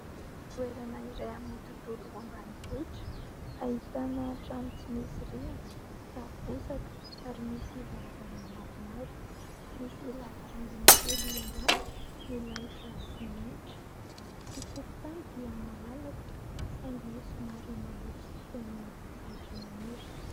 Toerana iray amin'ny tontolo ambanivohitra, ahitana trano tsy misy rihana, tafo bozaka, ary misy varavarana maromaro. Misy lavarangana kely ambany milalotra simenitra. Ny tokontany dia malalaka saingy somary maloto sy feno ahitra maniry.